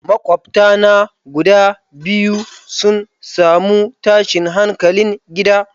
Makwabta na guda biyu sun samu tashin hankalin gida.